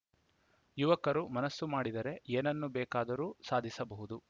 ಯುವಕರು ಮನಸ್ಸು ಮಾಡಿದರೆ ಏನನ್ನು ಬೇಕಾದರೂ ಸಾಧಿಸಬಹುದು